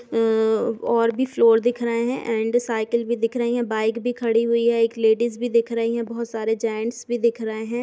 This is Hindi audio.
अ और भी फ्लोर दिख रहे हैं एंड साइकिल भी दिख रही हैं। बाइक भी खड़ी हुई है। एक लेडिज भी दिख रही है। बहोत सारे जेंट्स भी दिख रहे हैं।